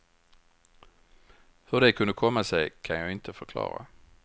Hur det kunde komma sig kan jag inte förklara.